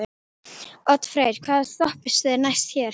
Oddfreyr, hvaða stoppistöð er næst mér?